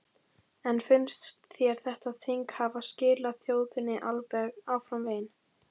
En finnst þér þetta þing hafa skilað þjóðinni áfram veginn?